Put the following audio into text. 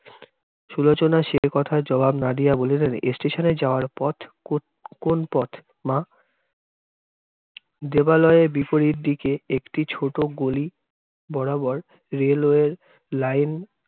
সুলোচনা সে কথায় জবাব না দিয়া বলিলেন, station এ যাওয়ার পথ কো~ কোণ পথ মা? দেবালয়ে বিপরীত দিকে একটি ছোট গলি বরাবর railway line